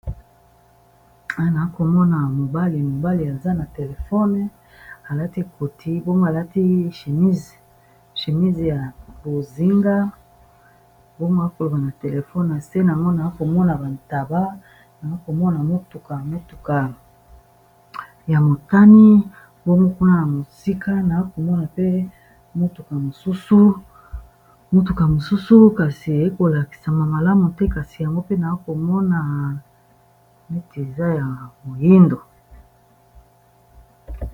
Naakomona mobali mobali aza na telefone alati koti mbomo alati shemise ya bozinga, bomo akoloba na telefone ase namo naakomona bantaba na komona motuka metuka ya motani, bomokuna na mosika naa komona pe motuka mosusu kasi ekolakisama malamu te kasi yango pe naakomona meti aza ya moindo.